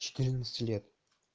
четырнадцати лет